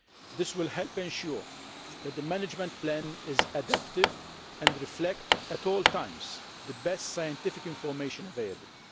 This will help ensure that the management plan is adaptive and reflects at all times the best scientific information available.